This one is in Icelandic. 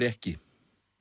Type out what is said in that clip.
ekki